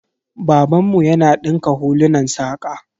Babanmu yana dinka hulunan saƙa.